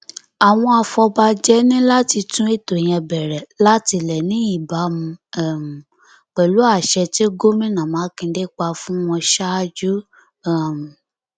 àwọn afọbajẹ ní láti tún ètò yẹn bẹrẹ látilẹ ní ìbámu um pẹlú àṣẹ tí gómìnà mákindé pa fún wọn ṣaájú um